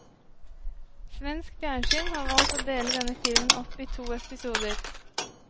Svensk fjernsyn har valgt å dele denne filmen opp i to episoder.